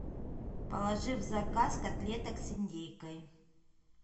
положи в заказ котлеток с индейкой